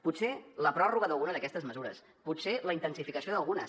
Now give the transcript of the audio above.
potser la pròrroga d’alguna d’aquestes mesures potser la intensificació d’algunes